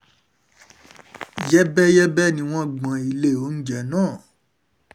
yẹ́bẹ́yẹ́bẹ́ ni wọ́n gbọ́n ilé oúnjẹ náà